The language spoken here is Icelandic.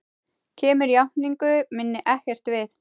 Kemur játningu minni ekkert við.